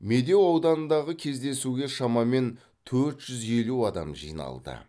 медеу ауданындағы кездесуге шамамен төрт жүз елу адам жиналды